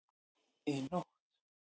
Í nótt